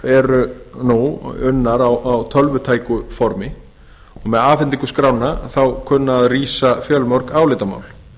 eru nú unnar á tölvutæku formi með afhendingu skránna kunna að rísa fjölmörg álitamál